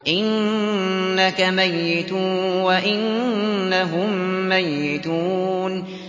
إِنَّكَ مَيِّتٌ وَإِنَّهُم مَّيِّتُونَ